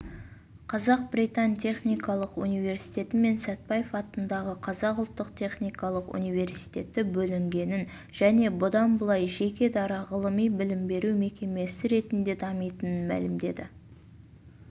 қазақ-британ техникалық университеті мен сәтбаев атындағы қазақ ұлттық техникалық университеті бөлінгенін және бұдан былай жеке-дара ғылыми-білім беру мекемесі ретінде дамитынын мәлімдеді